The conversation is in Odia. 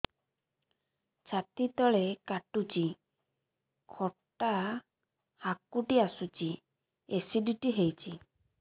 ଛାତି ତଳେ କାଟୁଚି ଖଟା ହାକୁଟି ଆସୁଚି ଏସିଡିଟି ହେଇଚି